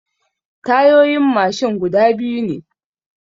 Tayoyin mashin guda biyu ne.